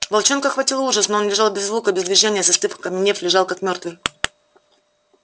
волчонка охватил ужас но он лежал без звука без движения застыв окаменев лежал как мёртвый